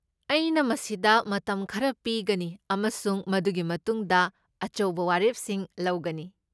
ꯑꯩꯅ ꯃꯁꯤꯗ ꯃꯇꯝ ꯈꯔ ꯄꯤꯒꯅꯤ ꯑꯃꯁꯨꯡ ꯃꯗꯨꯒꯤ ꯃꯇꯨꯡꯗ ꯑꯆꯧꯕ ꯋꯥꯔꯦꯞꯁꯤꯡ ꯂꯧꯒꯅꯤ꯫